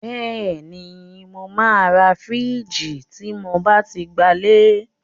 Bẹ́ẹ̀ni, mo máa ra fìíjìì tí mo bá ti gbalé.